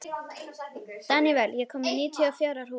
Danival, ég kom með níutíu og fjórar húfur!